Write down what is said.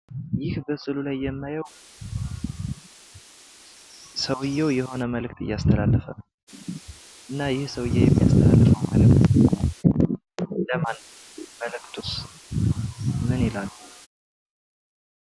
ይህ በስዕሉ ላይ የማየው ሰውየው መልእክት እያስተላለፈ ነው። እና ይህ ሰውየ የሚያስተላልፈው መልእክት ለማን ነው? መልእክቱስ ምን ይላል?